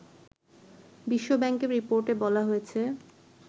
বিশ্বব্যাংকের রিপোর্টে বলা হয়েছে